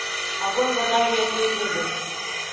огонь вода и медные трубы